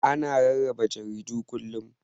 Ana rarraba jaridu kullum.